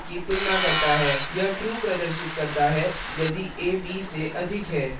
यह true प्रदर्शित करता है यदि a b से अधिक है